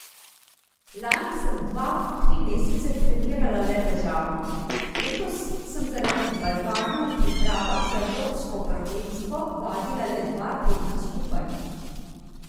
Lani sem dva, tri mesece trenirala le težavnost, letos sem zaradi balvanov v pripravah za evropsko prvenstvo vadila le dva tedna skupaj.